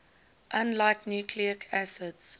unlike nucleic acids